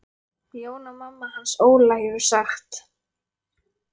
Jóna mamma hans Óla hefur sagt.